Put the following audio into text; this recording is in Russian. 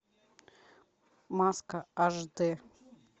маска аш д